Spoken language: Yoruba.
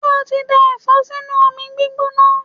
Ṣé o ti dá Ẹ̀fọ́ sínú omi gbígbóná?